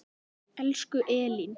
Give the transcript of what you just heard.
Elsku Elín.